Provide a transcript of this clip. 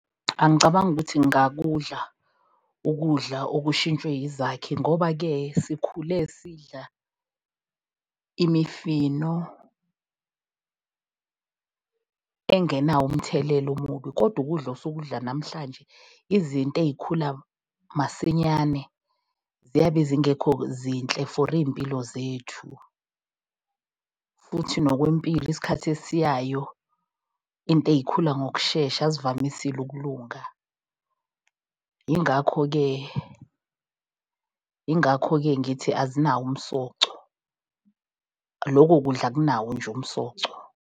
Angicabangi ukuthi ngingakudla ukudla okushintshwe izakhi ngoba-ke sikhule sidla imifino engenawo umthelela omubi kodwa, ukudla osukudla namhlanje, izinto ey'khula masinyane ziyabe zingekho zinhle for iy'mpilo zethu. Futhi nokwempilo isikhathi esiyayo into ey'khula ngokushesha azivamisile ukulunga. Yingakho-ke, yingakho-ke ngithi azinawo umsoco. Lokho kudla akunawo nje umsoco.